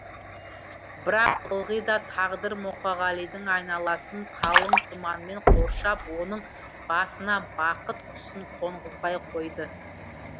бірақ ылғи да тағдыр мұқағалидың айналасын қалың тұманмен қоршап оның басына бақыт құсын қонғызбай қойды